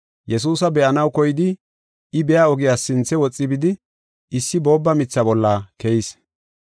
Yesuusa be7anaw koyidi I biya ogiyas sinthe woxi bidi issi boobba mitha bolla keyis.